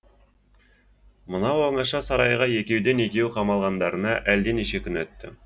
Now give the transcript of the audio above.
мынау оңаша сарайға екеуден екеу қамалғандарына әлденеше күн өтті